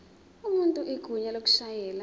umuntu igunya lokushayela